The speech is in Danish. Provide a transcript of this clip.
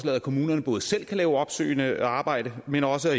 at kommunerne både selv kan lave opsøgende arbejde men også at